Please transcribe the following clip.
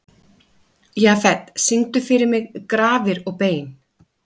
Jafet, syngdu fyrir mig „Grafir og bein“.